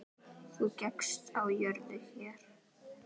Þú gekkst á jörðu hér.